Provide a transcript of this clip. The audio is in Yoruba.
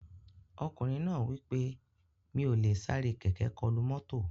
Ọkùnrin náà wí pé "Mi ò lè sáré kẹ̀kẹ́ kọlu mọ́tò"